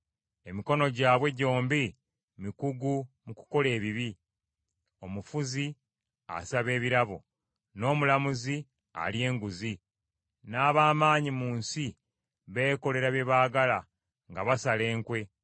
Emikono gyabwe gyombi mikugu mu kukola ebibi; omufuzi asaba ebirabo, n’omulamuzi alya enguzi, n’ab’amaanyi mu nsi, beekolera kye baagala nga basala enkwe.